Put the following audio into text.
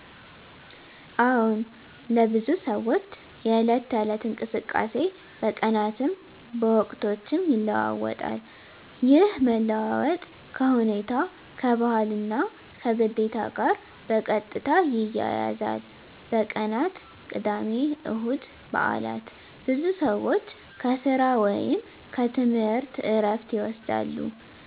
አዎን፣ ለብዙ ሰዎች የዕለት ተዕለት እንቅስቃሴ በቀናትም በወቅቶችም ይለዋዋጣል። ይህ መለዋወጥ ከሁኔታ፣ ከባህል እና ከግዴታ ጋር በቀጥታ ይያያዛል። በቀናት (ቅዳሜ፣ እሁድ፣ በዓላት): ብዙ ሰዎች ከሥራ ወይም ከትምህርት ዕረፍት ይወስዳሉ፣